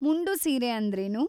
ಮುಂಡು ಸೀರೆ ಅಂದ್ರೇನು?